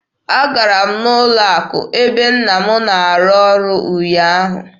Agara m n'ụlọ akụ ebe nna m na-arụ ọrụ ụnyaahụ.